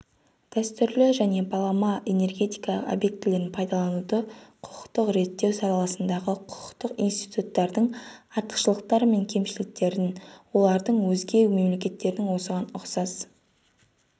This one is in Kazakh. дәстүрлі және балама энергетика объектілерін пайдалануды құқықтық реттеу саласындағы құқықтық институттардың артықшылықтары мен кемшіліктерін оларды өзге мемлекеттердің осыған ұқсас